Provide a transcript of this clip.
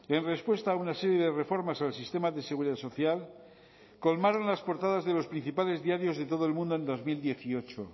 en respuesta a una serie de reformas al sistema de seguridad social colmaron las portadas de los principales diarios de todo el mundo en dos mil dieciocho